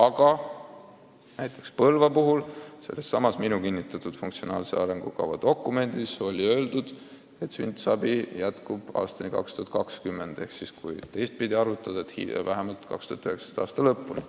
Aga näiteks Põlva kohta on sellessamas minu kinnitatud funktsionaalses arengukavas öeldud, et sünnitusabi jätkub aastani 2020 ehk siis vähemalt 2019. aasta lõpuni.